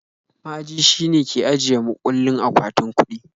Ma'aji shine ke ajiye mukullin akwatin kuɗi